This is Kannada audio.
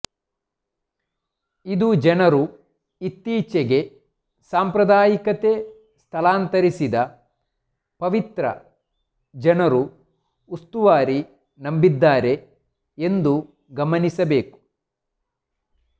ಇದು ಜನರು ಈ ಇತ್ತೀಚೆಗೆ ಸಾಂಪ್ರದಾಯಿಕತೆ ಸ್ಥಳಾಂತರಿಸಿದ ಪವಿತ್ರ ಜನರು ಉಸ್ತುವಾರಿ ನಂಬಿದ್ದಾರೆ ಎಂದು ಗಮನಿಸಬೇಕು